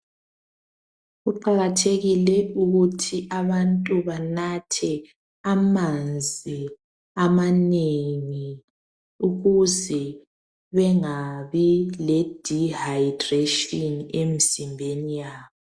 Kuqakathekile ukuthi abantu banathe amanzi amanengi ukuze bengabi leDihayidreshini emizimbeni yabo.